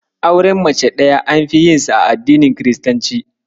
Auren mace ɗaya anfi yinsa a addinin kiristanci.